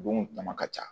Bon tama ka ca